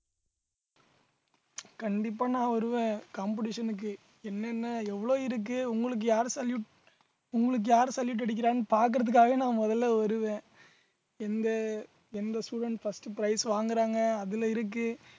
கண்டிப்பா நான் வருவேன் competition க்கு என்னென்ன எவ்ளோ இருக்கு உங்களுக்கு யாரு salute உங்களுக்கு யாரு salute அடிக்கிறாங்கன்னு பார்க்கிறதுக்காகவே நான் முதல்ல வருவேன் எந்த எந்த student first prize வாங்குறாங்க அதுல இருக்கு